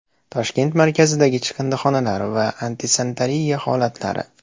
Toshkent markazidagi chiqindixonalar va antisanitariya holatlari.